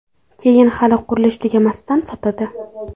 Keyin hali qurilish tugamasidan sotadi.